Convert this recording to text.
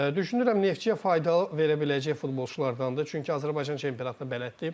Düşünürəm Neftçiyə fayda verə biləcək futbolçulardandır, çünki Azərbaycan çempionatına bələddir.